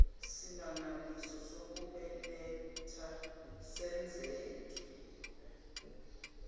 simangaliso sokubeletha senzeke